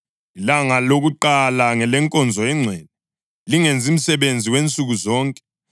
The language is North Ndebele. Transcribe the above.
Ilanga lokuqala ngelenkonzo engcwele; lingenzi msebenzi wansuku zonke.